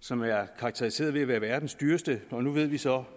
som er karakteriseret ved at være verdens dyreste og nu ved vi så